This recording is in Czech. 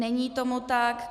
Není tomu tak.